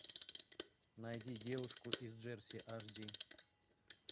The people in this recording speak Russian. найди девушку из джерси аш ди